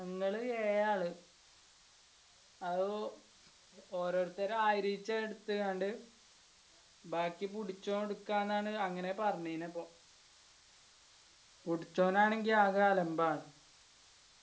ഞങ്ങള് ഏഴാള് അത് ഓരോത്തര് ആയിരം വെച്ച് എടുത്താണ്ട് ബാക്കി പുടിച്ചോൻ എടുക്കാനാണ് അങ്ങനെ പറഞ്ഞിനി അപ്പൊ പുടിച്ചോനാണെങ്കി ആകെ അലമ്പാണ്